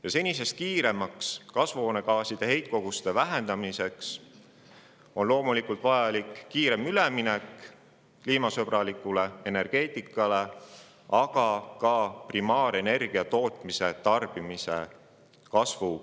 Ja senisest kiiremaks kasvuhoonegaaside heitkoguste vähendamiseks on loomulikult vajalik minna kiiremini üle kliimasõbralikule energeetikale, aga ka piirata primaarenergia tootmise ja tarbimise kasvu.